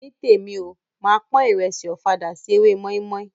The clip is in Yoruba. Nítèmi o, máa pon ìrẹsì ọ̀fadà sí ewé mọ́ímọ́í.